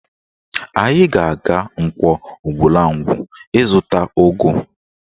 Anyị ga-aga Nkwọ Ugwulangwu ịzụta ụgụ